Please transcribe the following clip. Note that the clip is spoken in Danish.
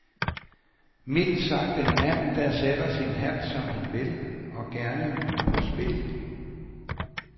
Mildt sagt en mand, der sætter sin hat, som han vil, og gerne på spil.